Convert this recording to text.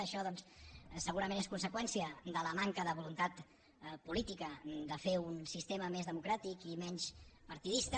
això segurament és conseqüència de la manca de voluntat política de fer un sistema més democràtic i menys partidista